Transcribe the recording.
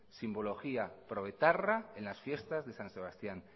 simbología proetarra en las fiestas de san sebastián